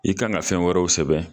I kan ka fɛn wɛrɛw sɛbɛn